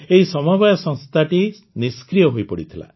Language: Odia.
ଏହି ସମବାୟ ସଂସ୍ଥାଟି ନିଷ୍କ୍ରିୟ ହୋଇପଡ଼ିଥିଲା